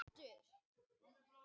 Svartholið hefur orðið til.